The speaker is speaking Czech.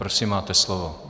Prosím, máte slovo.